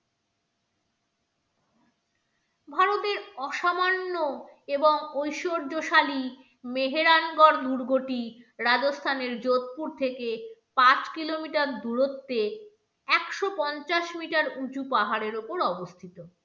ভারতের অসামান্য এবং ঐশ্বর্যশালী মেহেরাঙ্কর দুর্গটি রাজস্থানের যোধপুর থেকে পাঁচ kilometer দূরত্বে একশো পঞ্চাশ meter উঁচু পাহাড়ের ওপর অবস্থিত।